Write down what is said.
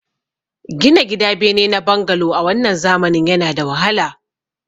Gina gida bene na bangalo a wannan zamanin yana da wahala